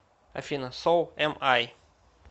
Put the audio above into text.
афина соу эм ай